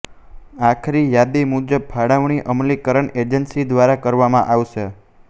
આખરી યાદી મુજબ ફાળવણી અમલીકરણ એજન્સી દ્વારા કરવામાં આવશે